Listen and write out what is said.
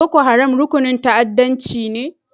Boko Haram rukunin ta'addancci ne?